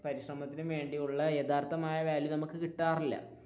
പരിശ്രമത്തിനും വേണ്ടിയുള്ള യഥാർത്ഥമായ വാല്യു നമുക്ക് കിട്ടാറില്ല.